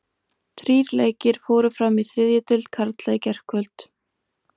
Þrír leikir fóru fram í þriðju deild karla í gærkvöld.